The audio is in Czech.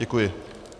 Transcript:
Děkuji.